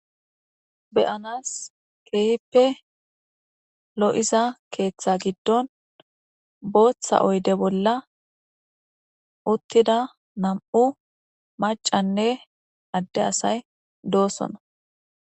Beyanas keeyippe lo'iza keeththa giddon booththa oyde bolla uttida nam'u macanne adde asay doosona.